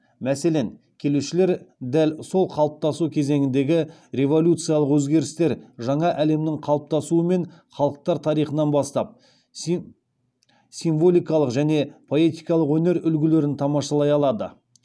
мәселен келушілер дәл сол қалыптасу кезеңіндегі революциялық өзгерістер жаңа әлемнің қалыптасуы мен халықтар тарихынан бастап символикалық және поэтикалық өнер үлгілерін тамашалай алады